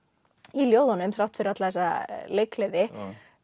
í ljóðunum þrátt fyrir alla þessa leikgleði